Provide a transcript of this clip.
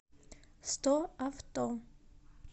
стоавто